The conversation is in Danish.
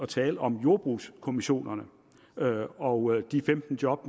tale om jordbrugskommissionerne og de femten job